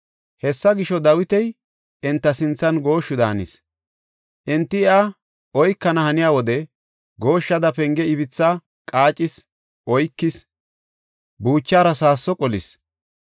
Hessa gisho, Dawiti enta sinthan gooshshu daanis. Enti iya oykana haniya wode gooshshada penge ibitha qaacethi oykis; buuchaara saasso qolis.